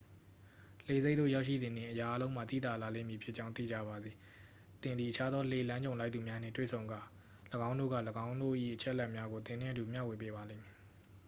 လှေဆိပ်သို့ရောက်ရှိသည်နှင့် အရာအားလုံးမှာ သိသာလာလိမ့်မည်ဖြစ်ကြောင်း သေချာပါစေ သင်သည် အခြားသော လှေလမ်းကြုံလိုက်သူများနှင့် တွေ့ဆုံကာ ၎င်းတို့က ၎င်းတို့၏အချက်အလက်များကို သင်နှင့်အတူမျှဝေပါလိမ့်မည်